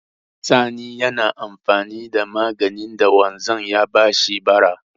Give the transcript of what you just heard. Sani yana amfani da maganin da wanzan ya ba shi bara.